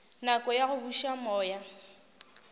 nako ya go buša moya